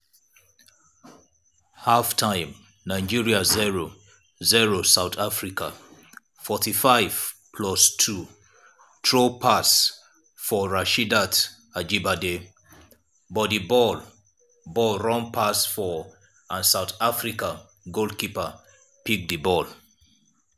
half-time nigeria 0-0 south africa 45+2 thru pass for rasheedat ajibade but di ball ball run pass her and south africa goalkeeper pick di ball.